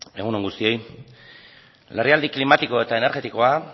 egun on guztioi larrialdi klimatiko eta energetikoa